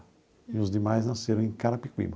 E os demais nasceram em Carapicuíba.